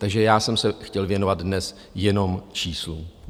Takže já jsem se chtěl věnovat dnes jenom číslům.